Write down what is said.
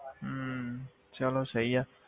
ਹਮ ਚਲੋ ਸਹੀ ਆ।